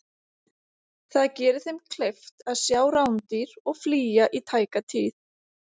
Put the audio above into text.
Það gerir þeim kleift að sjá rándýr og flýja í tæka tíð.